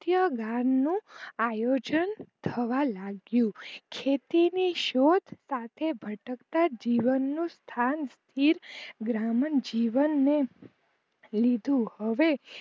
નું આયોજન થવા લાગ્યું ખેતી ની શોધ સાથે ભટકતા જીવનનું સ્થાન તીર્થ ગ્રામન જીવન એ લીધું હવે